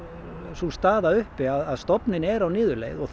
sú staða uppi að stofninn er á niðurleið og